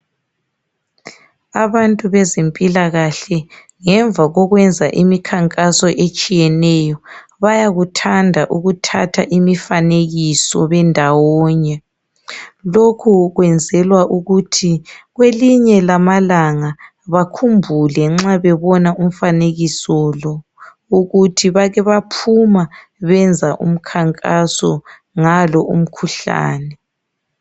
Abantu bezempilakahle ngemva kokwenza imikhankaso etshiyeneyo bayakuthanda ukuthatha imifanekiso bendawonye. Lokhu kwenzelwa ukuthi kwelinye lamalanga bakhumbule nxa bebona umfanekiso lo, ukuthi bake baphuma benza umkhankaso ngalo umkhuhlane.